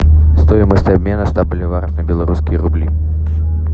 стоимость обмена ста боливаров на белорусские рубли